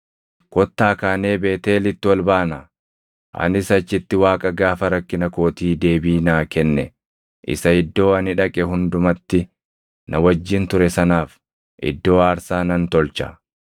Kottaa kaanee Beetʼeelitti ol baanaa; anis achitti Waaqa gaafa rakkina kootii deebii naa kenne isa iddoo ani dhaqe hundumatti na wajjin ture sanaaf iddoo aarsaa nan tolcha.”